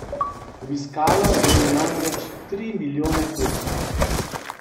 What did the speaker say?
Obiskalo jo je namreč tri milijone tujcev.